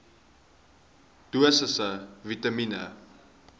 dosisse vitamien